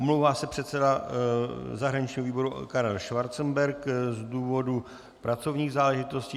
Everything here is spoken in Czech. Omlouvá se předseda zahraničního výboru Karel Schwarzenberg z důvodu pracovních záležitostí.